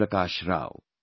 Prakash Rao